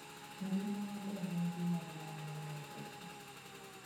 Ngima maber en gima duong' moloyo pesa.